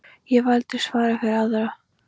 Ég hef aldrei svarað fyrir aðra.